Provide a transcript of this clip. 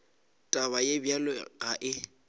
taba ye bjalo ga e